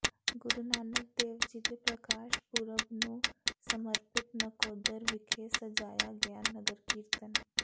ਗੁਰੂ ਨਾਨਕ ਦੇਵ ਜੀ ਦੇ ਪ੍ਰਕਾਸ਼ ਪੁਰਬ ਨੂੰ ਸਮਰਪਿਤ ਨਕੋਦਰ ਵਿਖੇ ਸਜਾਇਆ ਗਿਆ ਨਗਰ ਕੀਰਤਨ